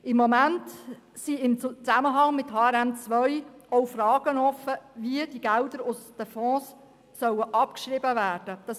Im Moment sind in Zusammenhang mit HRM2 auch Fragen offen, wie die Gelder aus den Fonds abgeschrieben werden sollen.